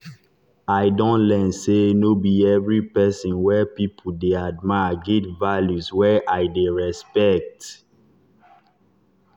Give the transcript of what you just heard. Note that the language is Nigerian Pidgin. i don learn say no be every person wey people dey admire get values wey i dey respect.